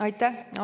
Aitäh!